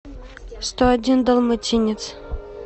сто один далматинец